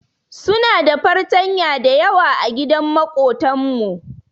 Su na da fartanya dayawa agidan makotan mu.